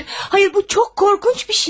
Hayır, hayır, bu çox qorxunç bir şey.